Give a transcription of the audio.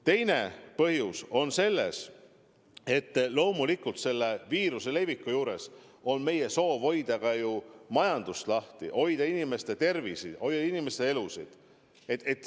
Teine põhjus on selles, et loomulikult me soovime ka viiruse sellise leviku juures hoida majandust lahti ja samas hoida inimeste tervist, inimeste elusid.